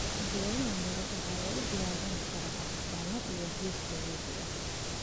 Geedaha miro waxaa lagu diyaarin karaa cabitaanno iyo juusyo dabiici ah.